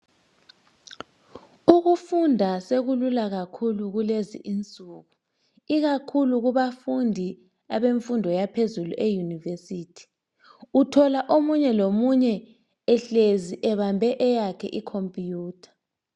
Ukufunda sekulula kakhulu kulezi insuku ikakhulu kubafundi beyunivesithi, uthola omunye lomunye ehlezi ebambe eyakhe i" computer ".